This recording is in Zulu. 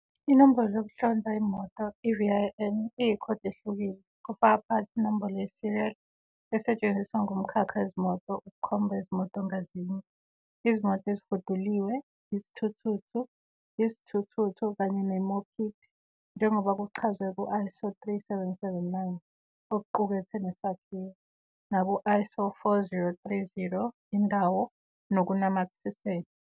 Inombolo yokuhlonza imoto, i-VIN, iyikhodi ehlukile, kufaka phakathi inombolo ye-serial, esetshenziswa ngumkhakha wezimoto ukukhomba izimoto ngazinye, izimoto ezihuduliwe, izithuthuthu, izithuthuthu kanye ne-mopeed, njengoba kuchazwe ku-ISO 3779, okuqukethwe nesakhiwo, naku-ISO 4030, indawo nokunamathiselwe.